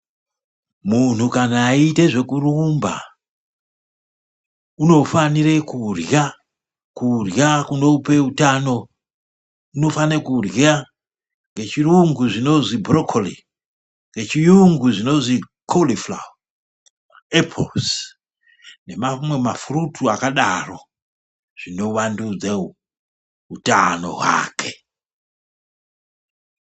Munhu kana eyiite zvekurumba unofanire kurya, kurya kunope utano, unofane kurya. Ngechiyungu zvinozwi burokoli, ngechiyungu zvinozwi konifurawa, apurusi nema mafurutu akadaro zvinovandudze utano hwake.